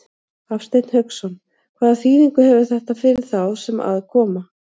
Hafsteinn Hauksson: Hvaða þýðingu hefur þetta fyrir þá sem að koma?